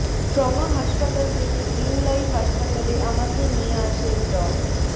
trauma হাসপাতাল থেকে green life হাসপাতালে আমাকে নিয়ে আসেন ড